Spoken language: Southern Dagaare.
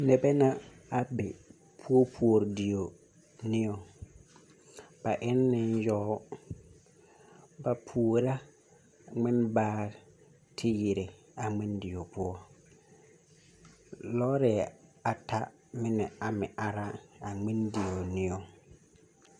Noba la be puopuori dieŋ nigaŋba e la yaga ba puori la ŋmen baare kyɛ yiri a ŋmendie poɔ, lɔɛ ata meŋ are la ŋmendie nigaŋ.